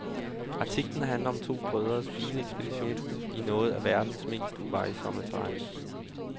Artiklen handler om to brødres bilekspedition i noget af verdens mest uvejsomme terræn.